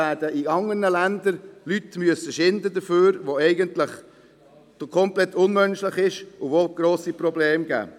In anderen Ländern werden Leute dafür unter unmenschlichen Bedingungen schuften, und es entstehen grosse Probleme.